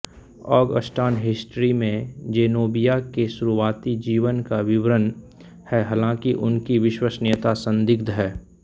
Augustan history में Zenobia के शुरुआती जीवन का विवरण है हालांकि उनकी विश्वसनीयता संदिग्ध है